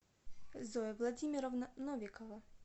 зоя владимировна новикова